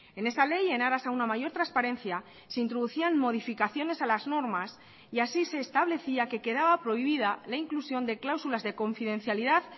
en esa ley en aras a una mayor transparencia se introducían modificaciones a las normas y así se establecía que quedaba prohibida la inclusión de cláusulas de confidencialidad